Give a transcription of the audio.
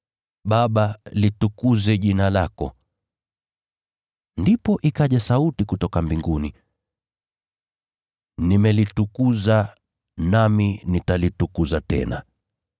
Baba, litukuze jina lako.” Ndipo ikaja sauti kutoka mbinguni, “Nimelitukuza, nami nitalitukuza tena.”